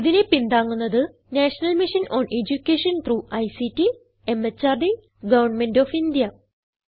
ഇതിനെ പിന്താങ്ങുന്നത് national mission on education through ICT MHRD government of India